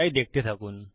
তাই দেখতে থাকুন